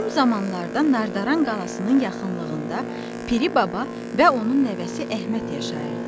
Qədim zamanlarda Nardaran qalasının yaxınlığında Piri baba və onun nəvəsi Əhməd yaşayırdı.